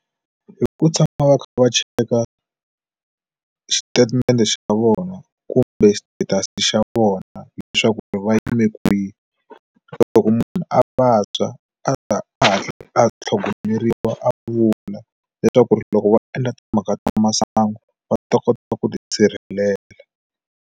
Hi ku tshama va kha va cheka xitatimende xa vona kumbe status xa vona leswaku va yime kwihi loko munhu a vabya a ta hatla a tlhogomeriwa a vula leswaku ri loko va endla timhaka ta masangu va ta kota ku tisirhelela.